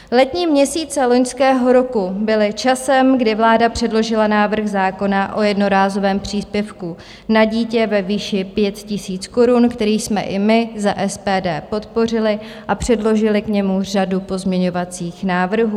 Letní měsíce loňského roku byly časem, kdy vláda předložila návrh zákona o jednorázovém příspěvku na dítě ve výši 5 000 korun, který jsme i my za SPD podpořili a předložili k němu řadu pozměňovacích návrhů.